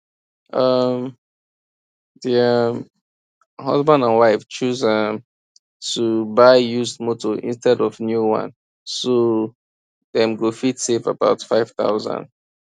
um di um husband and wife choose um to buy used motor instead of new one so dem go fit save about 5000